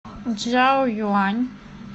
чжаоюань